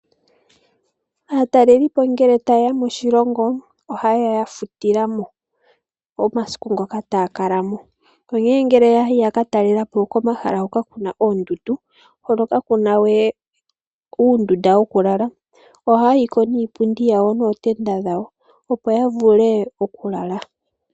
Aatalelipo ngele taye ya moshilongo ohaya futu omasiku ngoka taya kala mo. Yo ngele yayi komahala ngoka kuna oondundu kakuna oondunda dhoku lala ohaya yi nootenda dhawo opo yavule okulala.